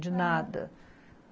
De nada.